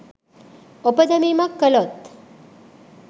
ඔප දැමීමක් කළොත්